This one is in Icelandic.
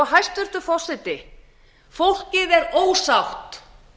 hæstvirtur forseti fólkið er ósátt